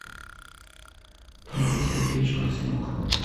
дмитрий сергеевич марценюк